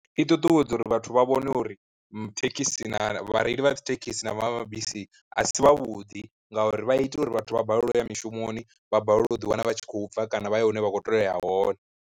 I ṱuṱuwedza uri vhathu vha vhone uri thekhisi na vhareili vha dzithekhisi na mabisi a si vha vhuḓi ngauri vha ita uri vhathu vha balelwe uya mishumoni, vha balelwe u ḓiwana vha tshi khou bva kana vha ye hune vha kho tea uya hone.